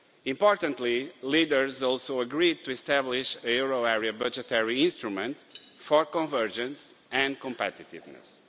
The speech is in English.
Importantly, leaders also agreed to establish a euro area budgetary instrument for convergence and competitiveness.